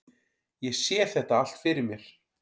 Ég sé þetta allt fyrir mér.